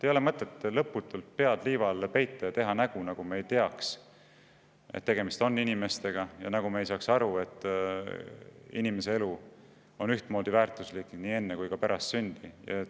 Ei ole mõtet lõputult pead liiva alla peita ja teha nägu, nagu me ei teaks, et tegemist on inimestega, nagu me ei saaks aru, et inimese elu on ühtmoodi väärtuslik nii enne kui ka pärast sündi.